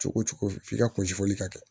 Cogo cogo f'i ka kunsi fɔli kɛ